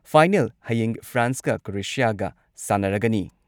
Final ꯍꯌꯦꯡ ꯐ꯭ꯔꯥꯟꯁꯀ ꯀ꯭ꯔꯣꯑꯦꯁꯤꯌꯥꯒ ꯁꯥꯟꯅꯔꯒꯅꯤ ꯫